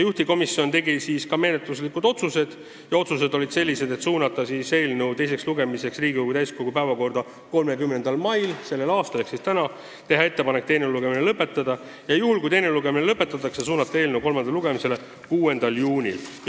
Juhtivkomisjon tegi ka menetluslikud otsused, mis olid sellised: suunata eelnõu teiseks lugemiseks Riigikogu täiskogu päevakorda 30. maiks ehk siis tänaseks, teha ettepanek teine lugemine lõpetada ja juhul, kui teine lugemine lõpetatakse, suunata eelnõu kolmandale lugemisele 6. juuniks.